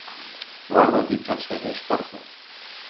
Varð að því talsverður sparnaður.